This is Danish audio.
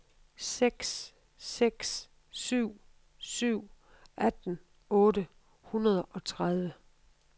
seks seks syv syv atten otte hundrede og tredive